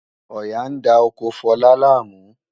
Ọ̀yà ń da oko Fọlá láàmú